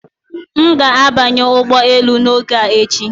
M ga-abanye ụgbọ elu n'oge a echi